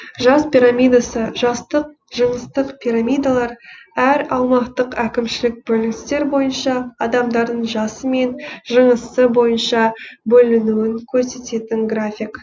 жас пирамидасы жастық жыныстық пирамидалар әр аумақтық әкімшілік бөліністер бойынша адамдарының жасы мен жынысы бойынша бөлінуін көрсететін график